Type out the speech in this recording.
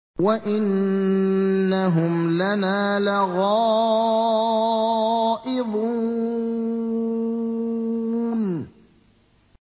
وَإِنَّهُمْ لَنَا لَغَائِظُونَ